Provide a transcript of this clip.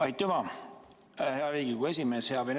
Aitüma, hea Riigikogu esimees!